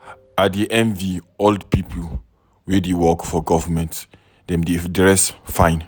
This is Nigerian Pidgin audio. I dey envy all the people wey dey work for government. Dem dey dress fine.